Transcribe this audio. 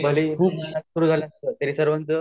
खूप दूरपर्यंत